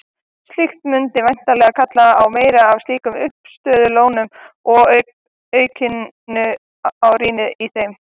Slíkt mundi væntanlega kalla á meira af slíkum uppistöðulónum og aukningu á rými í þeim.